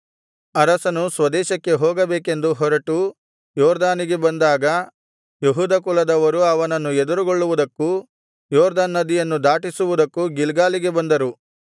ಅರಸನು ಸ್ವದೇಶಕ್ಕೆ ಹೋಗಬೇಕೆಂದು ಹೊರಟು ಯೊರ್ದನಿಗೆ ಬಂದಾಗ ಯೆಹೂದ ಕುಲದವರು ಅವನನ್ನು ಎದುರುಗೊಳ್ಳುವುದಕ್ಕೂ ಯೊರ್ದನ್ ನದಿಯನ್ನು ದಾಟಿಸುವುದಕ್ಕೂ ಗಿಲ್ಗಾಲಿಗೆ ಬಂದರು